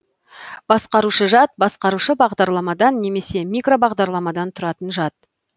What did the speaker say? басқарушы жад басқарушы бағдарламадан немесе микробағдарламадан тұратын жад